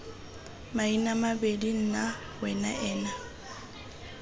maina maemedi nna wena ena